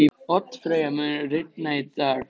Oddfreyja, mun rigna í dag?